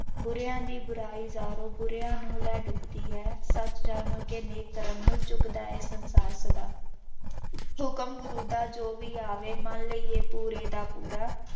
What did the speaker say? ਬੁਰਿਆਂ ਦੀ ਬੁਰਾਈ ਯਾਰੋ ਬੁਰਿਆਂ ਨੂੰ ਲੈ ਡੁੱਬਦੀ ਹੈ, ਸੱਚ ਜਾਣੋ ਕਿ ਨੇਕ ਕਰਮ ਨੂੰ ਚੁੱਕਦਾ ਹੈ ਸੰਸਾਰ ਸਦਾ ਹੁਕਮ ਗੁਰੂ ਦਾ ਜੋ ਵੀ ਆਵੇ ਮੰਨ ਲਈਏ ਪੂਰੇ ਦਾ ਪੂਰਾ,